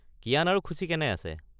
কিয়ান আৰু খুছি কেনে আছে?